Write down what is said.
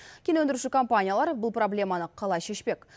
кен өндіруші компаниялар бұл проблеманы қалай шешпек